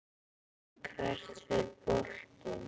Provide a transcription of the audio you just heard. Hvert fer boltinn?